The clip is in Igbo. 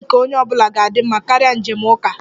Njem nke onye ọ bụla ga-adị mma karịa njem uka